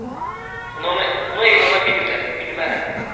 Buna inana bilmərəm.